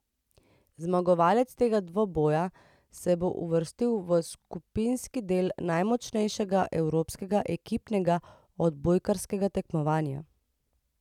Zmagovalec tega dvoboja se bo uvrstil v skupinski del najmočnejšega evropskega ekipnega odbojkarskega tekmovanja.